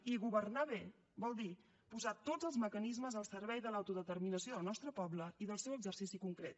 i governar bé vol dir posar tots els mecanismes al servei de l’autodeterminació del nostre poble i del seu exercici concret